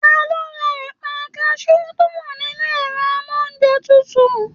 Taló rà ẹpa kasú to wà nínú ẹrọ amounjẹ tútù?